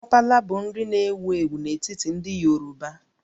Sapala bụ nri na-ewu ewu n'etiti ndị Yoruba